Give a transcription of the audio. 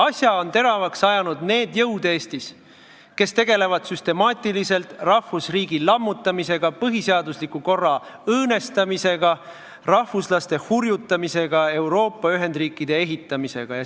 Asja on teravaks ajanud need jõud Eestis, kes tegelevad süstemaatiliselt rahvusriigi lammutamisega, põhiseadusliku korra õõnestamisega, rahvuslaste hurjutamisega, Euroopa ühendriikide ehitamisega.